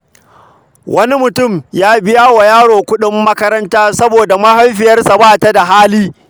Wani mutum ya biya wa yaro kuɗin makaranta saboda mahaifiyarsa ba ta da hali.